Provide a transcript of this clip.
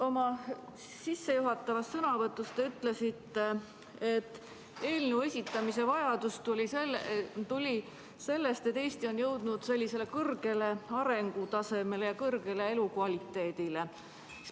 Oma sissejuhatavas sõnavõtus te ütlesite, et eelnõu esitamise vajadus tuli sellest, et Eesti on jõudnud sellisele kõrgele arengutasemele ja siin on kõrge elukvaliteet.